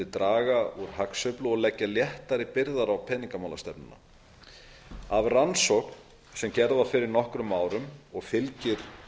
draga úr hagsveiflu og leggja léttari byrðar á peningamálastefnuna af rannsókn sem gerð var fyrir nokkrum árum og fylgir